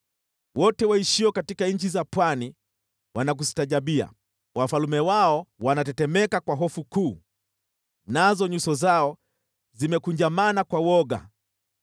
Wote waishio katika nchi za pwani wanakustaajabia; wafalme wao wanatetemeka kwa hofu kuu, nazo nyuso zao zimekunjamana kwa woga.